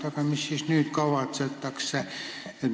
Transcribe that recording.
Aga mis siis nüüd kavatsetakse ehitada?